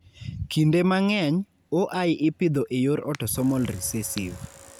Kinde mang'eny, OI ipidho e yor autosomal recessive.